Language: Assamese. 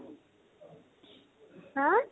হা?